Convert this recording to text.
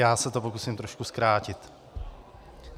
Já se to pokusím trošku zkrátit.